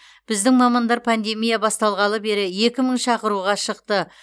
біздің мамандар пандемия басталғалы бері екі мың шақыруға шықты